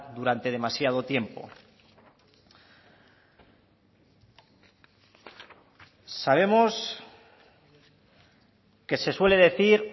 durante demasiado tiempo sabemos que se suele decir